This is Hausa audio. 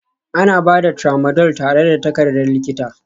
Ana ba da Tramadol tare da takardar likita